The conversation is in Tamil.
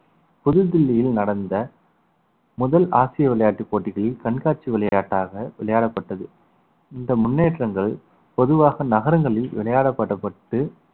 புது தில்லியில் நடந்த முதல் ஆசிய விளையாட்டுப் போட்டிகளில் கண்காட்சி விளையாட்டாக விளையாடப்பட்டது இந்த முன்னேற்றங்கள் பொதுவாக நகரங்களில் விளையாடப்படப்பட்டு